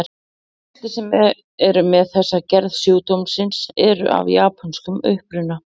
Flestir sem eru með þessa gerð sjúkdómsins eru af japönskum uppruna.